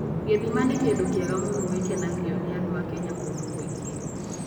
Gĩthima nĩ kĩndũ kĩega mũno gĩkenagio nĩ andũ a Kenya kũndũ kũingĩ.